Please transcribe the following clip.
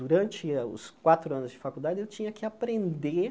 Durante eh os quatro anos de faculdade, eu tinha que aprender